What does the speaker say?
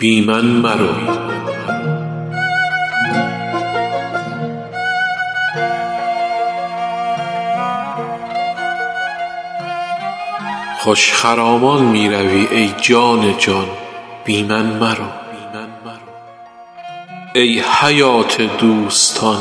خوش خرامان می روی ای جان جان بی من مرو ای حیات دوستان